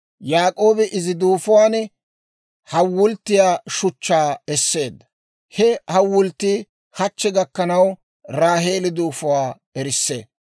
Yaak'oobi izi duufuwaan hawulttiyaa shuchchaa esseedda; he hawulttii hachche gakkanaw Raaheeli duufuwaa erissee.